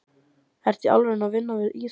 Ertu í alvöru að vinna við íþróttir?